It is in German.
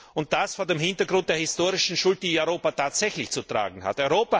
Und das vor dem Hintergrund der historischen Schuld, die Europa tatsächlich zu tragen hat.